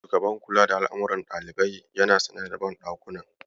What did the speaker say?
Shugaban kula da al'amuran ɗalibai yana sane da banɗakunan.